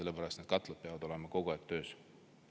Need katlad peavad olema kogu aeg töös.